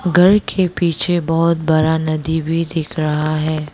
घर के पीछे बहुत बड़ा नदी भी दिख रहा है।